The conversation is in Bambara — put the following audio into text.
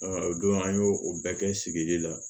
o don an y'o o bɛɛ kɛ sigili la